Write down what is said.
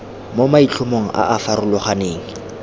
mo maitlhomong a a farologaneng